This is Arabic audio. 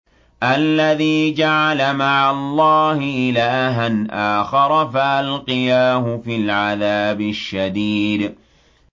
الَّذِي جَعَلَ مَعَ اللَّهِ إِلَٰهًا آخَرَ فَأَلْقِيَاهُ فِي الْعَذَابِ الشَّدِيدِ